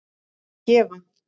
að gefa